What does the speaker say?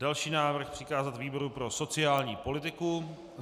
Další návrh: přikázat výboru pro sociální politiku.